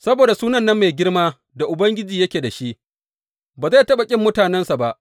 Saboda suna mai girma da Ubangiji yake da shi, ba zai taɓa ƙin mutanensa ba.